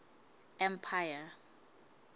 empire